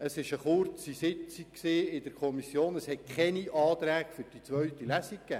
Er hat ausgeführt, dass es sich in der Kommissionssitzung um ein kurzes Traktandum handelte und keine Anträge vorlagen.